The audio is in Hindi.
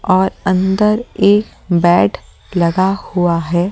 और अंदर एक बेड लगा हुआ है।